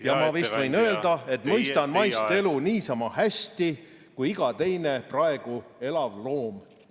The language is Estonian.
ja ma vist võin öelda, et mõistan maist elu niisama hästi kui iga teine praegu elav loom.